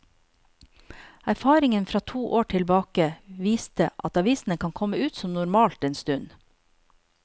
Erfaringen fra to år tilbake viste at avisene kan komme ut som normalt en stund.